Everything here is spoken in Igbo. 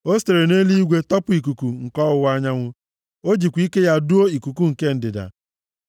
O sitere nʼeluigwe tọpụ ikuku nke ọwụwa anyanwụ, o jikwa ike ya duo ikuku nke ndịda.